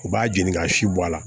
U b'a jeni k'a si bɔ a la